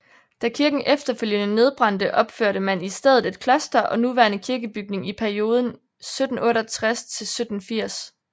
Da kirken efterfølgende nedbrændte opførte man i stedet et kloster og nuværende kirkebygning i perioden 1768 til 1780